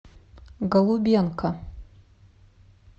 голубенко